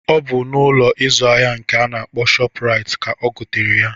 Ọ bụ Ụlọ ịzụ ahịa nke a na-akpọ shọpu Rait ka ogotere ya.